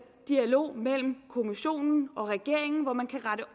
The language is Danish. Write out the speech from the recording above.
dialog mellem kommissionen og regeringen hvor man kan rette